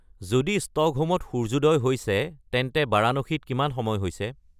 যদি ষ্টকহোমত সূৰ্যোদয় হৈছে তেন্তে বাৰাণসীত কিমান সময় হৈছে